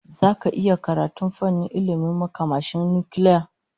Zaka iya karatun fannin ilmin makamashin nukiliya?